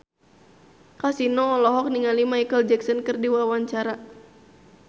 Kasino olohok ningali Micheal Jackson keur diwawancara